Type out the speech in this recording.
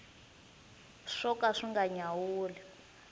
swo ka swi nga nyawuli